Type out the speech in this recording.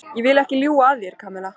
Ég vil ekki ljúga að þér, Kamilla.